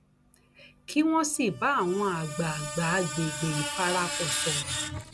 kí wọn sì bá àwọn àgbààgbà àgbègbè ìfarapa sọrọ